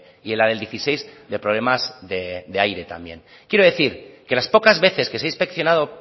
y en la del dieciséis de problemas de aire también quiero decir que las pocas veces que se ha inspeccionado